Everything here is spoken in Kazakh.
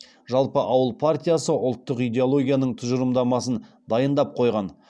жалпы ауыл партиясы ұлттық идеологияның тұжырымдамасын дайындап қойған